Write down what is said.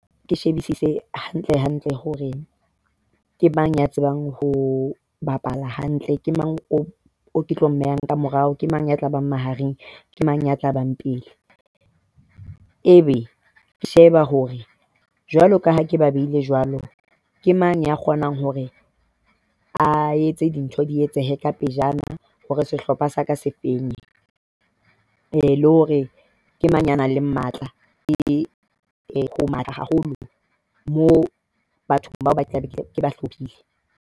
Ke shebisise hantlehantle hore ke mang ya tsebang ho bapala hantle. Ke mang o ke tlo mmeha ka morao, ke mang ya tla bang mahareng, ke mang ya tla bang pele. Ebe ke sheba hore jwalo ka ha ke ba behilwe jwalo, ke mang ya kgonang hore a etse dintho di etsehe ka pejana hore sehlopha sa ka se feng Le hore ke mang ya nang le matla. Ke matla haholo moo batho bao ba hlolehile